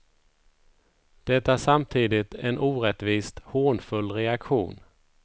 Det är samtidigt en orättvist hånfull reaktion.